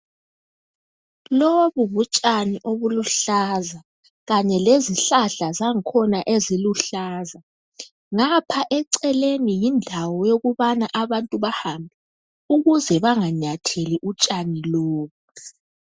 Lobu butshani obuluhlaza kanye lezihlahla zakhona eziluhlaza ngapha eceleni yindawo yokuthi abantu bahambe ukuze banganyatheli utshani lobu.